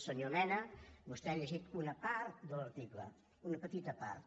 senyor mena vostè ha llegit una part de l’article una petita part